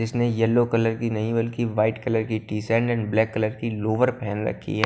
जिसने yellow colour की नहीं बल्कि व्हाइट कलर की टी_सैंड एंड ब्लैक कलर की लोअर पहन रखी है।